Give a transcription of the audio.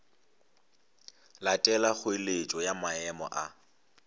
latela kgoeletšo ya maemo a